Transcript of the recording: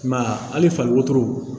I m'a ye hali fali wotoro